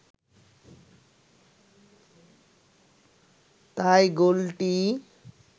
তাই গোলটি